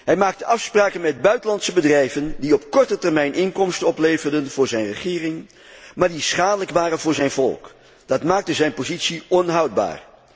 Hij maakte afspraken met buitenlandse bedrijven die op korte termijn inkomsten opleverden voor zijn regering, maar die schadelijk waren voor zijn volk. Dat maakte zijn positie onhoudbaar.